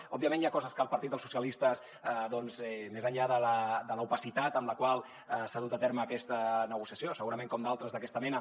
òbviament hi ha coses que el partit dels socialistes més enllà de l’opacitat amb la qual s’ha dut a terme aquesta negociació segurament com d’altres d’aquesta mena